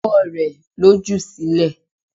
Ọwọ́ rẹ̀ ló jù sílẹ̀.